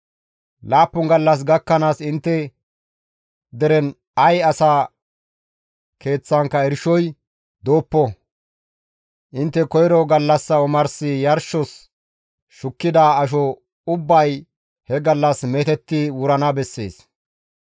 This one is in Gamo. Laappun gallas gakkanaas intte deren ay asa keeththankka irshoy dooppo; intte koyro gallassa omars yarshos shukkida asho ubbay he gallas meetetti wurana bessees.